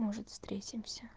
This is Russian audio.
может встретимся